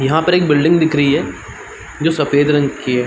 यहाँ पे एक बिल्डिंग दिख रही है जो सफ़ेद रंग की है।